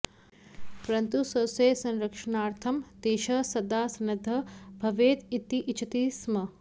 परन्तु स्वस्य संरक्षणार्थं देशः सदा सन्नद्धः भवेत् इति इच्छति स्म